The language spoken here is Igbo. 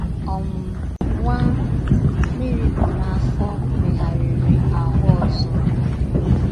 um Nwa Meri bu n’afọ megharịrị ahụ́ ọzọ.